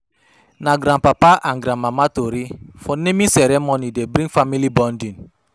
Na grandpapa and grandmama tori for naming ceremony dey bring family bonding.